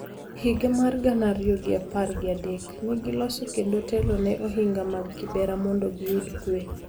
E higa mar gana ariyo gi apar gi adek, ne giloso kendo telo ne Ohinga mag Kibera mondo giyud Kwe .